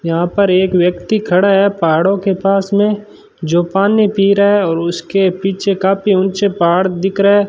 यहां पर एक व्यक्ति खड़ा है पहाड़ों के पास में जो पानी पी रहा है और उसके पीछे काफी ऊंचे पहाड़ दिख रहा --